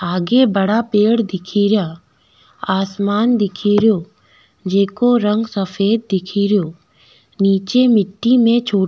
आगे बड़ा पेड़ दिखेरा आसमान दिखेरो जेको रंग सफ़ेद दिखेरो निचे मिटटी में छो --